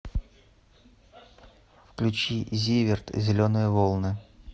включи зиверт зеленые волны